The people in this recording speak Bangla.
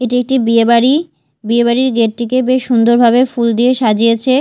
এটি একটি বিয়েবাড়ি বিয়েবাড়ির গেট -টিকে বেশ সুন্দরভাবে ফুল দিয়ে সাজিয়েছে।